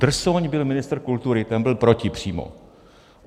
Drsoň byl ministr kultury, ten byl proti přímo.